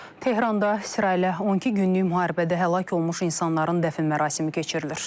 Tehranda İsraillə 12 günlük müharibədə həlak olmuş insanların dəfn mərasimi keçirilir.